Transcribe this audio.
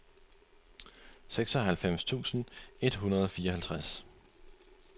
seksoghalvfems tusind et hundrede og fireoghalvtreds